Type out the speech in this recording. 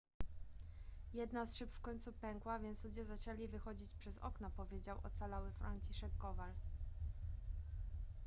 jedna z szyb w końcu pękła więc ludzie zaczęli wychodzić przez okno powiedział ocalały franciszek kowal